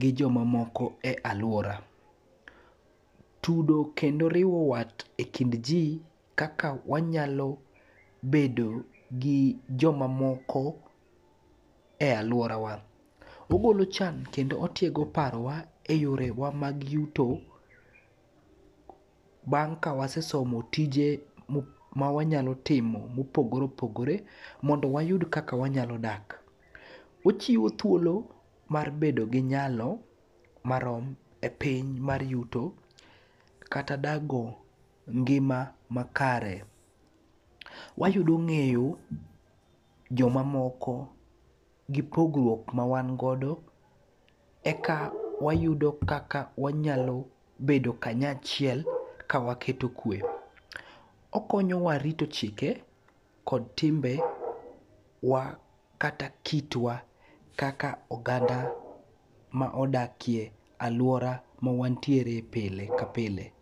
gi jomamoko e alwora. Tudo kendo riwo wat e kind ji kaka wanyalo bedo gi jomamoko e alworawa. Ogolo chan kendo otiego parowa e yorewa mag yuto, bang' ka wasesomo tije ma wanyalo timo ma opogore opogore mondo wayud kaka wanyalo dak, ochiwo thuolo mar bedo gi nyalo marom epiny mar yuto kata dago ngima makare. Wayudo ng'eyo jomamoko gi pogruok mawan godo e ka wayudo kaka wanyalo bedo kanyachiel ka waketo kwe. Okonyowa rito chike kod timbe wa kata kitwa kaka oganda ma odakie alwora mawantiere pile ka pile.